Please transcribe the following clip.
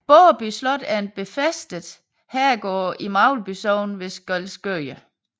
Borreby Slot er en befæstet herregård i Magleby Sogn ved Skælskør